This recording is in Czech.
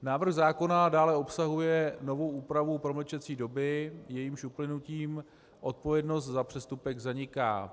Návrh zákona dále obsahuje novou úpravu promlčecí doby, jejímž uplynutím odpovědnost za přestupek zaniká.